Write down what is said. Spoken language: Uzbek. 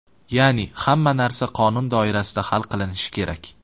Ya’ni hamma narsa qonun doirasida hal qilinishi kerak.